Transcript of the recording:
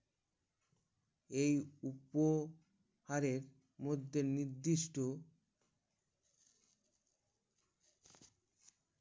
এই উপ হারে মধ্যে নির্দিষ্ট